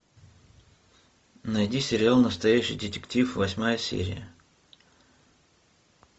найди сериал настоящий детектив восьмая серия